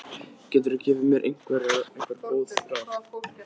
Geturðu gefið mér einhver góð ráð?